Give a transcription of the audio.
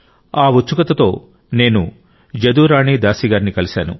ఆ ఉత్సుకతతో నేను జదురాణి దాసి గారిని కలిశాను